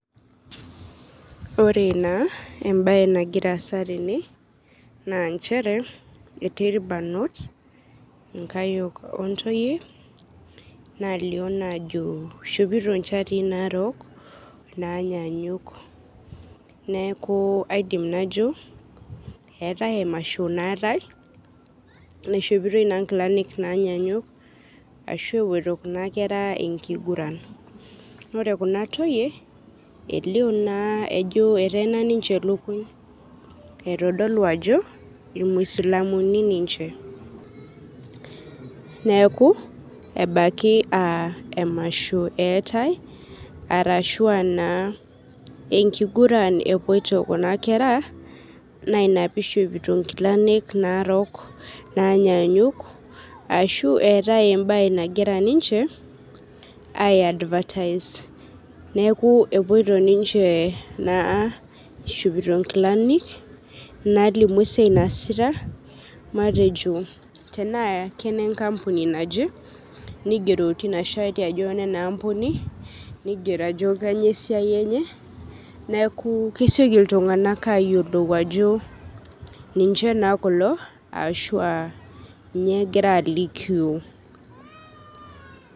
Ore naa embae nagiraa aasa tene naa nchere etii irbarnot nkayiok ontoyie nalio ajo eishopito nalio naa ajo eishopito nchatii naarok neeku aidim najo eeta emasho naatae naishopitoi naa nkilani naanyanyuk ashu epeoito Kuna kera enkiguran ,naa ore naa Kuna toyie elio ajo eteena ninche lukuny eitodol ajo imuisilamuni ninche ,neeku ebaiki aa emasho eetae arashu enkiguran epoitoi Kuna kera ina pee eishopito nkilani naarok naanyanyuk ashu eetae embae nagira ninche aiadfataise neeku ishopito ninche nkilani naalimu esiai naasita matejo tenaa kenenkampuni naje nigero tina shati ajo enena ampuni nigero ajo kainyoo esiai enye neeku kesioki neeku kesioki iltunganak ayiolou ajo ninche kulo ashu kainyoo egira alikio.